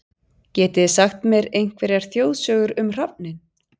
Getið þið sagt mér einhverjar þjóðsögur um hrafninn?